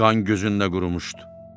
Qan gözündə qurumuşdu.